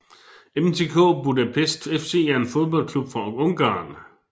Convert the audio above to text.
MTK Budapest FC er en fodboldklub fra Ungarn